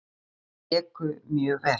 Þeir léku mjög vel.